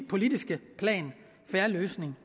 politiske plan fair løsning